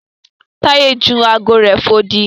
Taye jù ààgo rẹ fò odi.